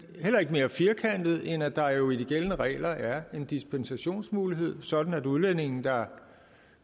heller ikke mere firkantet end at der jo i de gældende regler er en dispensationsmulighed sådan at udlændinge der